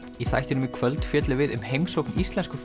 í þættinum í kvöld fjöllum við um heimsókn íslensku